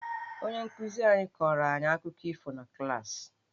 Onye nkụzi anyị kọrọ anyị akụkọ ifo na klaasị..